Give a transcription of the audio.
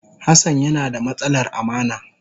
Hassan yana da matsalar amana.